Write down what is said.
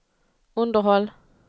underhåll